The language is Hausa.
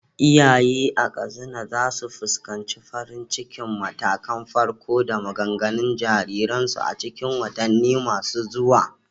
Iyaye a Katsina za su fuskanci farin cikin matakan farko da maganganun jariransu a cikin watanni masu zuwa.